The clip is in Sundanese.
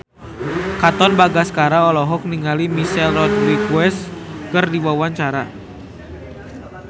Katon Bagaskara olohok ningali Michelle Rodriguez keur diwawancara